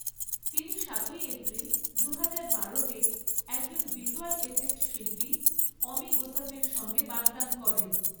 তিনি সাতই এপ্রিল দুহাজার বারোতে একজন ভিজ্যুয়াল এফেক্ট শিল্পী অমি গোসাভির সঙ্গে বাগদান করেন।